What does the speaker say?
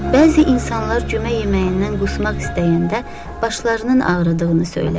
Bəzi insanlar cümə yeməyindən qusmaq istəyəndə başlarının ağrıdığını söyləyər.